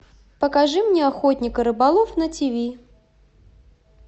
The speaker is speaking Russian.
покажи мне охотник и рыболов на тиви